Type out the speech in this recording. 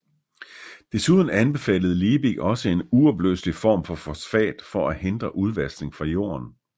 Desuden anbefalede Liebig også en uopløselig form for fosfat for at hindre udvaskning fra jorden